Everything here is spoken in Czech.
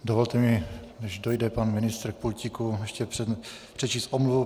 Dovolte mi, než dojde pan ministr k pultíku, ještě přečíst omluvu.